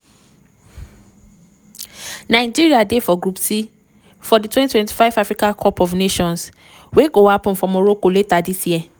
nigeria dey for group c for di 2025 africa cup of nations wey go happun for morocco later dis year.